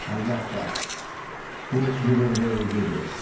Əlbəttə, bu qürurvericidir.